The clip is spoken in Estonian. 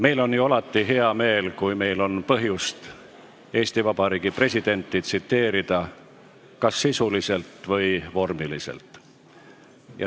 Meil on ju alati hea meel, kui meil on põhjust Eesti Vabariigi presidenti tsiteerida, kas sisuliselt või vormiliselt.